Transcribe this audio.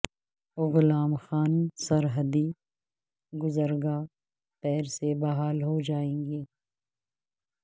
غلام خان سرحدی گزرگاہ پیر سے بحال ہو جائے گی